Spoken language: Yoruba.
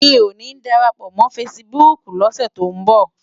Mi ó ni dárápò mò fãsibúk lòsè tó n bò